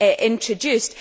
introduced.